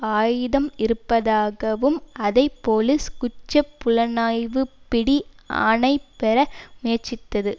ஆயுதம் இருப்பதாகவும் அதை போலிஸ் குற்ற புலணாய்வு பிடி ஆணை பெற முயற்சித்தது